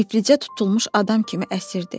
İflicə tutulmuş adam kimi əsirdi.